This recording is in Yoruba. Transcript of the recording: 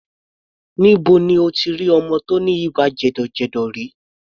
Níbo ni o ti rí ọmọ tí ó ní ibà jẹ̀dọ̀jẹ̀dọ̀ rí?